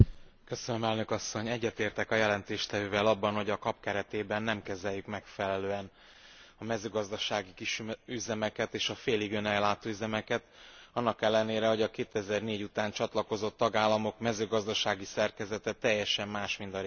Egyetértek a jelentéstevővel abban, hogy a KAP keretében nem kezeljük megfelelően a mezőgazdasági kisüzemeket és a félig önellátó üzemeket, annak ellenére, hogy a 2004. után csatlakozott tagállamok mezőgazdasági szerkezete teljesen más, mint a régi tagállamoké.